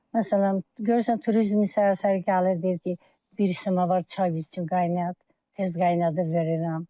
Məsələn, görürsən turizm səhər-səhər gəlir, deyir ki, bir isitmə var, çay bizə qaynat, tez qaynadıb verirəm.